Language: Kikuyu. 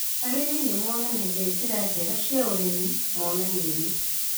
Arĩmĩ nĩmonanagia njĩra njega cia ũrĩmi monanio-inĩ